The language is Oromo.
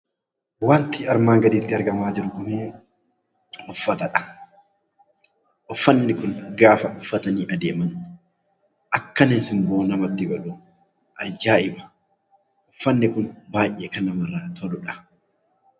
Wanti armaan gaditti argamaa jiru kuni uffata dha. Uffanni kun gaafa uffatanii adeeman akkanni simboo namatti godhu ajaa'iba! Uffanni kun baay'ee kan namarraa toluudha.